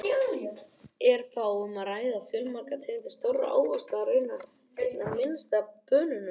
Er þá um að ræða fjölmargar tegundir stórra ávaxta, raunar einna minnst af banönum!